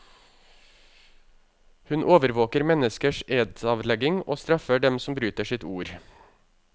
Hun overvåker menneskers edsavlegging, og straffer dem som bryter sitt ord.